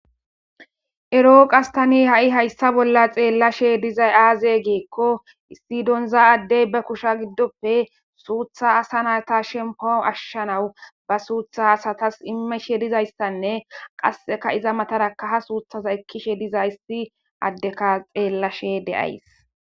Ero tani qasekka hayssa bolla xellishe dizayssa azee gikko issi dinza addey be kushe giddoppe suuththa asa natta shemppua ashshanaw ba suuththa asatas imishshe didayssanne qasekka iza mattara suuththa ekishe dizayssi addekko xellashe de'ays